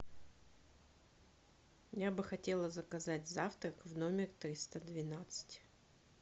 я бы хотела заказать завтрак в номер триста двенадцать